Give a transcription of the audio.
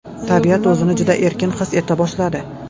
Tabiat o‘zini juda erkin his eta boshladi.